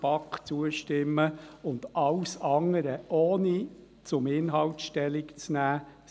Wir werden den Planungserklärungen der BaK zustimmen und alles andere, ohne zum Inhalt Stellung zu nehmen, ablehnen.